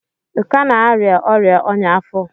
ị ka na-arịa ọrịa ọñya afọ?